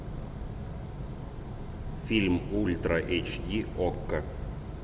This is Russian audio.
фильм ультра эйч ди окко